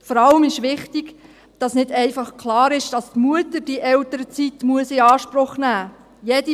Vor allem ist wichtig, dass nicht einfach klar ist, dass die Mutter diese Elternzeit in Anspruch nehmen muss.